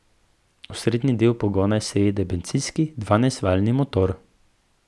Osrednji del pogona je seveda bencinski dvanajstvaljni motor.